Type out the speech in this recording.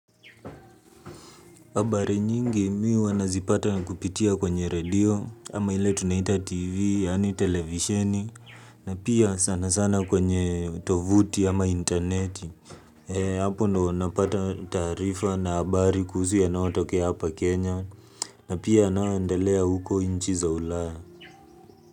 Habari nyingi mimi hua nazipata kupitia kwenye redio, ama ile tunaita tv, yani televisheni, na pia sana sana kwenye tovuti ama interneti. E, hapo ndio napata taarifa na habari kuhusu yanayo tokea hapa Kenya, na pia yanayoendelea huko nchi za ulaya.